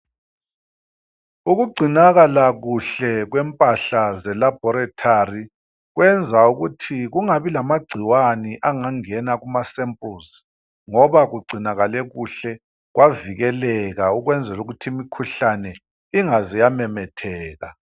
Ukugcinakala kuhle kwempahla zelaboratory kwenza ukuthi kungabi lamagcikwane angangena kumasempuluzi ngoba kugcinakale kuhle kwavikeleka ukwenzela ukuthi imikhuhlane ingaze yamemetheka.